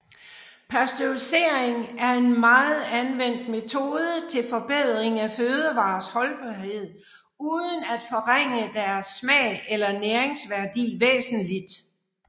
Pasteurisering er en meget anvendt metode til forbedring af fødevarers holdbarhed uden at forringe deres smag eller næringsværdi væsentligt